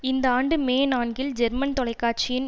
இந்த ஆண்டு மே நான்கில் ஜெர்மன் தொலைக்காட்சியின்